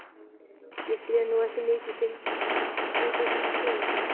Ég sé nú ekki mikið fyndið við svona sögur.